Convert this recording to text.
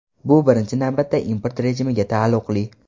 Bu birinchi navbatda import rejimiga taalluqli.